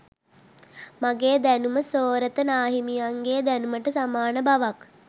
මගේ දැනුම සෝරත නාහිමියන්ගේ දැනුමට සමාන බවක්